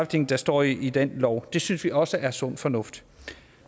ting der står i den lov det synes vi også er sund fornuft